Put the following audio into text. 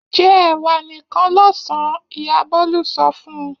Jẹ ẹ̀wà nìkan lọ́sàn-án! Ìyá Bólú sọ fún un.